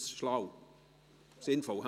Ist dies schlau und sinnvoll?